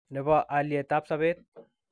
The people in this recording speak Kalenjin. ne bo alyetab sobet.